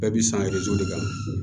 Bɛɛ bi san kan